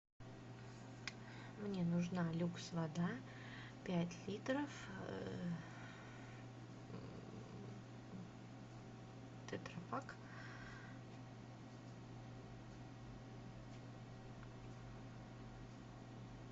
мне нужна люкс вода пять литров тетра пак